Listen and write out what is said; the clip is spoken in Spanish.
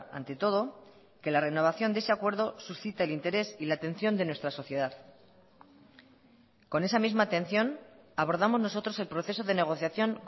ante todo que la renovación de ese acuerdo suscita el interés y la atención de nuestra sociedad con esa misma atención abordamos nosotros el proceso de negociación